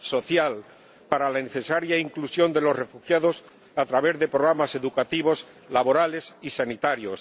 social, para la necesaria inclusión de los refugiados a través de programas educativos, laborales y sanitarios.